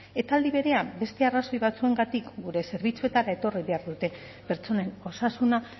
eta aldi berean beste arrazoi batzuengatik gure zerbitzuetara etorri behar dute pertsonen osasuna